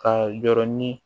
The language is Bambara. Ka yɔrɔ ni